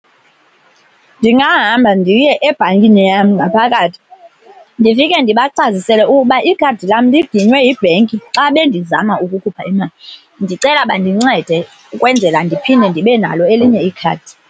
Ndingahamba ndiye ebhankini yam ngaphakathi ndifike ndibacacisele uba ikhadi lam liginywe yibhenki xa bendizama ukukhupha imali, ndicela bandincede ukwenzela ndiphinde ndibe nalo elinye ikhadi.